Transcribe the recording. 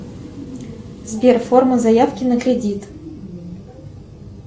сбер форма заявки на кредит